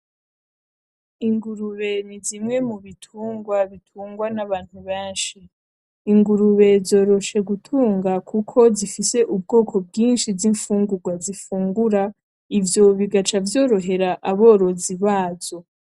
Ingurube nizimwe mubitungwa bitungwa nabantu benshi, ingurube zoroshe gutunga kuko zifise ubwoko bwinshi zimfungurwa zifungura ivyo bigaca vyorohera aborozi bazo.